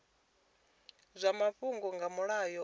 zwa mafhungo nga mulayo onoyu